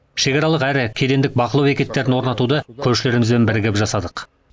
шекаралық әрі кедендік бақылау бекеттерін орнатуды көршілерімізбен бірігіп жасадық